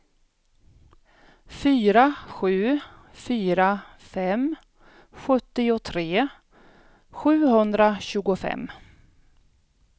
fyra sju fyra fem sjuttiotre sjuhundratjugofem